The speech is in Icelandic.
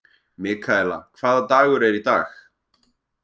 Mikaela, hvaða dagur er í dag?